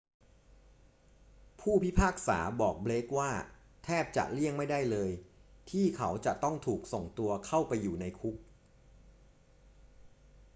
ผู้พิพากษาบอกเบลกว่า แทบจะเลี่ยงไม่ได้เลย ที่เขาจะต้องถูกส่งตัวเข้าไปอยู่ในคุก